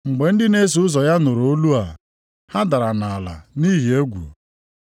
Mgbe ndị na-eso ụzọ ya nụrụ olu a, ha dara nʼala nʼihi egwu.